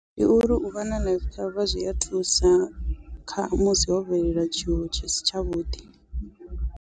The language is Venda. Ndi uri uvha na life cover zwia thusa kha musi ho bvelela tshiwo tshisi tsha vhuḓi.